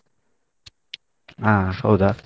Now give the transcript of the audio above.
ಹಾ ಹೌದಾ .